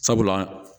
Sabula